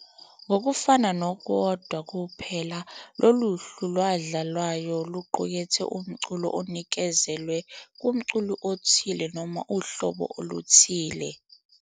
Ngokufana noKwodwa kuphela, lolu hlu lwadlalwayo luqukethe umculo onikezelwe kumculi othile noma uhlobo oluthile.